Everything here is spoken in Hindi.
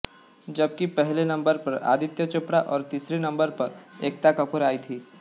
जबकि पहले नंबर पर आदित्य चोपड़ा और तीसरे नंबर पर एकता कपूर आई थीं